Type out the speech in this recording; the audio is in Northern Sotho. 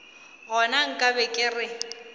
gona nka be ke re